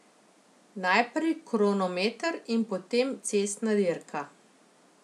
Najprej kronometer in potem cestna dirka.